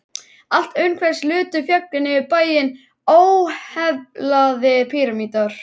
Allt umhverfis lutu fjöllin yfir bæinn, óheflaðir pýramídar.